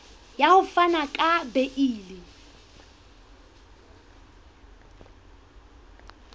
ya ho fana ka beile